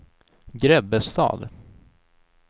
Grebbestad